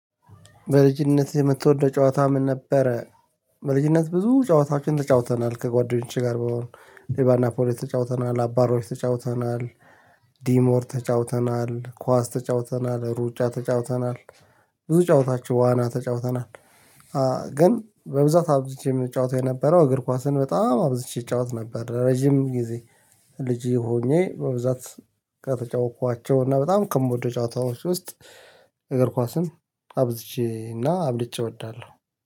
በልጅነት የምትወደው ጨዋታ ምን ነበረ? በልጅነት ብዙ ጨዋታዎችን ተጫውተናል ከጓደኞቼ ጋር በሆን ሌባና ፖሊስ ተጫውተናል አባሮሽ ተጫውተናል። ዲሞር ተጫውተናል ኳስ ተጫውተናል ሩጫ ተጫውተናል። ብዙ ጨዋታዎች ዋና ተጫውተናል። ግን በብዛት አብዝቼ የምጫወተው የነበረው እግር ኳስን በጣም አብዝቼ እጫወት ነበር። ረጅም ጊዜ ልጄ ሆኜ በብዛት ከተጫወትኳቸው እና በጣም ከምወደው ጨዋታዎች ውስጥ እግር ኳስን አብዝቼ እና አብልጬ እወዳለሁ